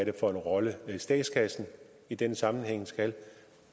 er for en rolle statskassen i denne sammenhæng skal